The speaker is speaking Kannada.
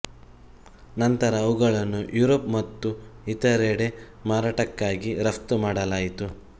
ನಂತರ ಅವುಗಳನ್ನು ಯುರೋಪ್ ಮತ್ತು ಇತರೆಡೆ ಮಾರಾಟಕ್ಕಾಗಿ ರಫ್ತು ಮಾಡಲಾಯಿತು